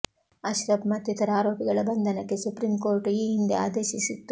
ಅಶ್ರಫ್ ಮತ್ತಿತರ ಆರೋಪಿಗಳ ಬಂಧನಕ್ಕೆ ಸುಪ್ರೀಂ ಕೋರ್ಟ್ ಈ ಹಿಂದೆ ಆದೇಶಿಸಿತ್ತು